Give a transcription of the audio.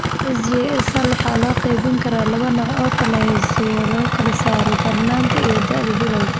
SJS hal waxaa loo qaybin karaa laba nooc oo hoosaadyo lagu kala saaro darnaanta iyo da'da bilawga.